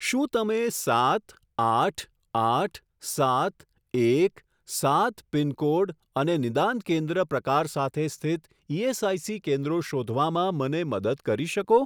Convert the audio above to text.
શું તમે સાત આઠ આઠ સાત એક સાત પિનકોડ અને નિદાન કેન્દ્ર પ્રકાર સાથે સ્થિત ઇએસઆઇસી કેન્દ્રો શોધવામાં મને મદદ કરી શકો?